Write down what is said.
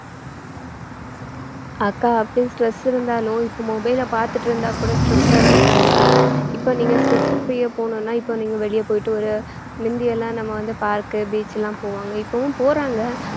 அக்கா அப்படியே stress இருந்தாலும் இப்ப mobile ல பாத்துட்டு இருந்தா கூட stress ஆதான் அக்கா இருக்கும் இப்ப நீங்க stress free ஆ போகணும்னா இப்ப நீங்க வெளிய போயிட்டு ஒரு முந்தி எல்லாம் நம்ம வந்து park, beach லாம் போவாங்க இப்பவும் போறாங்க